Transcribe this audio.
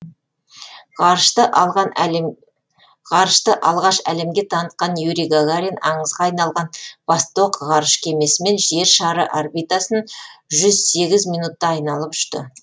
ғарышты алғаш әлемге танытқан юрий гагарин аңызға айналған восток ғарыш кемесімен жер шары орбитасын жүз сегіз минутта айналып ұшты